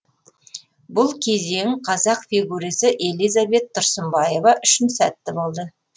бұл кезең қазақ фигурисі элизабет тұрсынбаева үшін сәтті болды